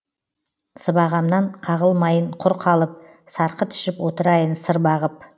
сыбағамнан қағылмайын құр қалып сарқыт ішіп отырайын сыр бағып